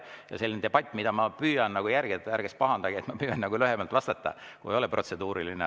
Ja selles debatis ma püüan siis järgida – ärge siis pahandage – seda, et püüan lühemalt vastata, kui ei ole protseduuriline.